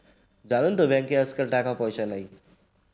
জানেন তো আজকাল bank যে টাকা পয়সা নাই